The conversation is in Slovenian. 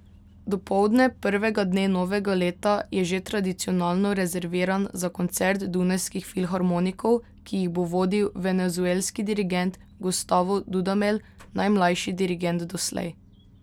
Dopoldne prvega dne novega leta je že tradicionalno rezerviran za koncert dunajskih filharmonikov, ki jih bo vodil venezuelski dirigent Gustavo Dudamel, najmlajši dirigent doslej.